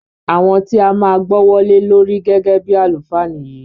Àwọn ti a máa gbọ́wọ́ lé lórí gẹ́gẹ́ bíi àlùfáà nìyí.